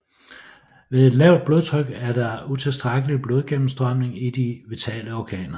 Ved et lavt blodtryk er der utilstrækkelig blodgennemstrømning i de vitale organer